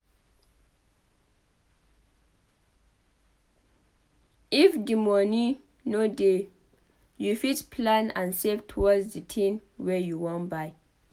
If di moni no dey you fit plan and save towards the tin wey you wan buy